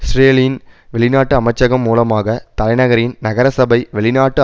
இஸ்ரேலின் வெளிநாட்டு அமைச்சகம் மூலமாக தலைநகரின் நகரசபை வெளிநாட்டு